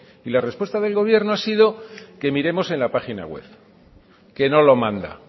y la respuesta del gobierno ha sido que miremos en la página web que no lo manda